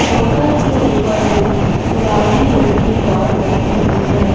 Walker के ऊपर एक गुलाबी रंग की डाल रखी हुई है।